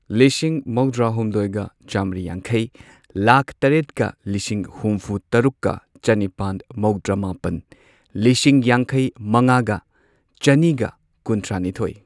ꯂꯤꯁꯤꯡ ꯃꯧꯗ꯭ꯔꯥꯍꯨꯝꯗꯣꯏꯒ ꯆꯥꯝꯔꯤ ꯌꯥꯡꯈꯩ ꯂꯥꯈ ꯇꯔꯦꯠꯀ ꯂꯤꯁꯤꯡ ꯍꯨꯝꯐꯨ ꯍꯨꯝꯐꯨ ꯇꯔꯨꯛꯀ ꯆꯅꯤꯄꯥꯟ ꯃꯧꯗ꯭ꯔꯥꯃꯥꯄꯟ ꯂꯤꯁꯤꯡ ꯌꯥꯡꯈꯩ ꯃꯉꯥꯒ ꯆꯅꯤꯒ ꯀꯨꯟꯊ꯭ꯔꯥꯅꯤꯊꯣꯏ